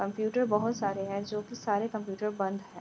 Computer बहुत सारे हैं जो की सारे कंप्यूटर बंद हैं।